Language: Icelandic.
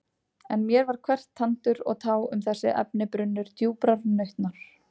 En mér var hvert tandur og tá um þessi efni brunnur djúprar nautnar.